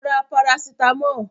Lọ ra Parasítámọ̀!